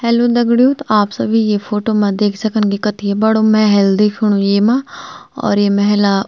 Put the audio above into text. हेल्लो दग्ड़ियों त आप सभी ये फोटो म देख सकन की कथी बडू मेहल दिखेणु येमा और ये मेहला --